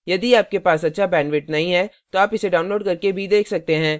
यदि आपके पास अच्छा bandwidth नहीं है तो आप इसे download करके देख सकते हैं